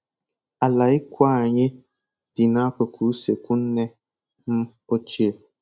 Ala ikwu anyị dị n'akụkụ usekwu nne m ochie